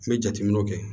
N bɛ jateminɛw kɛ